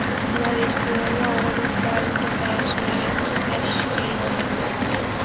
Ular ishchilarga og‘ir yuklarni ko‘tarish va tashishga yordam beradi.